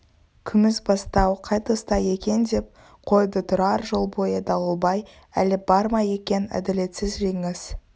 күмісбастау қай тұста екен деп қойды тұрар жол бойы дауылбай әлі бар ма екен әділетсіз жеңіс